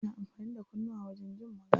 Ana amfani da kunnuwa wajen jin magana.